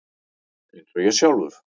Eins og ég sjálfur.